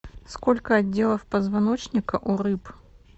сколько отделов позвоночника у рыб